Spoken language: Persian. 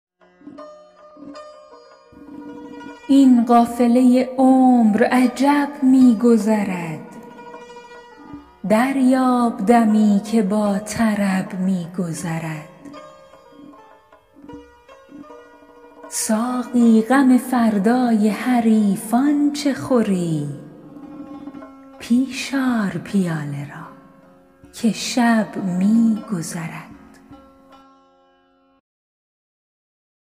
این قافله عمر عجب می گذرد دریاب دمی که با طرب می گذرد ساقی غم فردای حریفان چه خوری پیش آر پیاله را که شب می گذرد